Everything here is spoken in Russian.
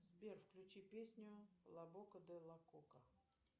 сбер включи песню лабока де лакока